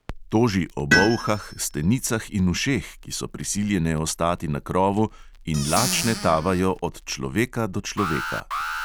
Toži o bolhah, stenicah in ušeh, ki so prisiljene ostati na krovu in lačne tavajo od človeka do človeka.